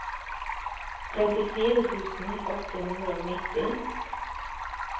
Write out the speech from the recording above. trettifire tusen åtte hundre og nitti